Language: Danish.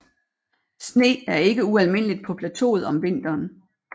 Sne er ikke ualmindeligt på plateauet om vinteren